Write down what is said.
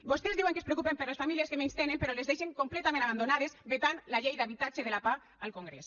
vostès diuen que es preocupen per les famílies que menys tenen però les deixen completament abandonades vetant la llei d’habitatge de la pah al congrés